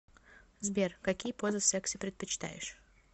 сбер какие позы в сексе предпочитаешь